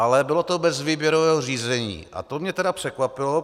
Ale bylo to bez výběrového řízení a to mě tedy překvapilo.